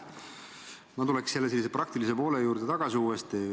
Ma tuleks jälle praktilise poole juurde tagasi.